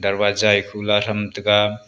darwaja e khula tham taiga.